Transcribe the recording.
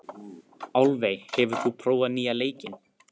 Álfey, hefur þú prófað nýja leikinn?